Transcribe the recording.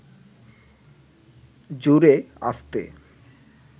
জোরে, আস্তে